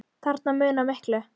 Þarna munar miklu.